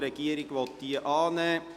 Die Regierung will diese annehmen.